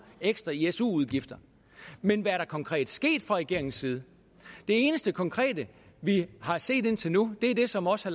ekstra i su udgifter men hvad er der konkret sket fra regeringens side det eneste konkrete vi har set indtil nu er det som også